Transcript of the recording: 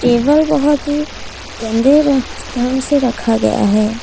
Table बहुत ही गंदे ढंग से रखा गया है।